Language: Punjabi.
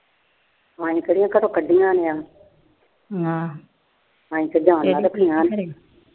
ਅਸੀਂ ਕਿਹੜਾ ਘਰੋ ਕੱਢੀਆ ਹੋਈਆਂ।